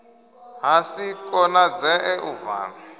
ha si konadzee u vala